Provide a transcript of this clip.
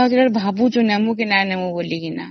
ତ ମୁଁ ଭାବୁଛି ନେବୁ କି ନବୁନି ବୋଲି